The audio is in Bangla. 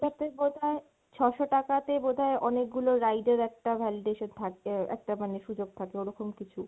ওটাতে বোধহয় ছ'শো টাকা তে বোধহয় অনেকগুলো ride এর একটা validation থাকবে, একটা মানে সুযোগ থাকে ওরকম কিছু।